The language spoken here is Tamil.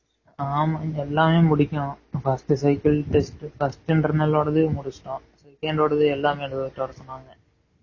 ஆமா எல்லாமே முடிக்கணும் first cycle test first internal ஓடாது முடுசுட்டோம் second ஓடாது எல்லாமே எழுதிட்டு வர சொன்னாங்க